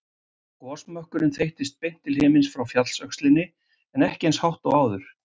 Gosmökkurinn þeyttist beint til himins frá fjallsöxlinni en ekki eins hátt og áður.